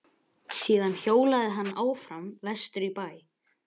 Síðan hjólaði hann áfram vestur í bæ.